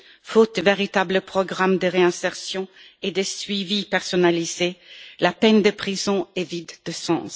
Faute de véritables programmes de réinsertion et de suivi personnalisé, la peine de prison est vide de sens.